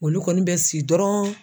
Olu kɔni bɛ si dɔrɔn